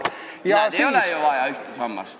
Näed, ei ole ju vaja ühte sammast.